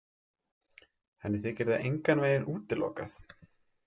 Henni þykir það engan veginn útilokað.